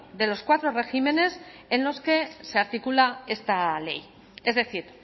de los cuatro regímenes en los que se articula esta ley es decir